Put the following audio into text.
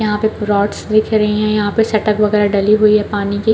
यहाँ पे रोडस दिख रही है यहाँ पे सेटअप वगेरा डली हुई है पानी की--